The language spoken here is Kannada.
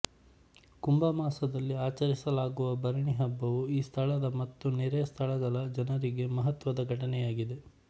ಕುಂಭ ಮಾಸದಲ್ಲಿ ಆಚರಿಸಲಾಗುವ ಭರಣಿ ಹಬ್ಬವು ಈ ಸ್ಥಳದ ಮತ್ತು ನೆರೆಯ ಸ್ಥಳಗಳ ಜನರಿಗೆ ಮಹತ್ವದ ಘಟನೆಯಾಗಿದೆ